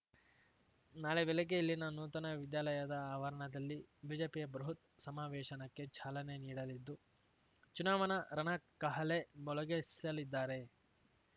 ನಾಳೆ ಬೆಳಿಗ್ಗೆ ಇಲ್ಲಿನ ನೂತನ ವಿದ್ಯಾಲಯದ ಆವರಣದಲ್ಲಿ ಬಿಜೆಪಿಯ ಬೃಹತ್ ಸಮಾವೇಶನಕ್ಕೆ ಚಾಲನೆ ನೀಡಲಿದ್ದು ಚುನಾವಣಾ ರಣಕಹಳೆ ಮೊಳಗಿಸಲಿದ್ದಾರೆ